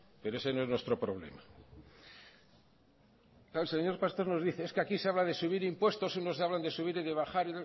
pero ese no es nuestro problema el señor pastor nos dice es que aquí se habla de subir impuestos unos hablan de subir y de bajar